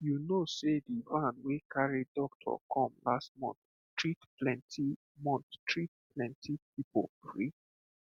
you know sey the van wey carry doctor come last month treat plenty month treat plenty people free